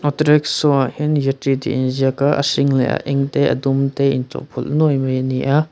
auto rickshaw ah hian yatri tih a inziak a a hring leh eng te a dum te a in chawhpawlh nuai mai a ni a.